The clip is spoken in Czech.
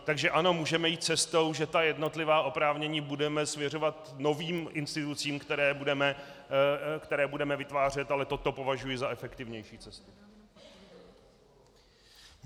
Takže ano, můžeme jít cestou, že ta jednotlivá oprávnění budeme svěřovat novým institucím, které budeme vytvářet, ale toto považuji za efektivnější cestu.